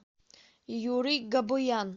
юрий габуян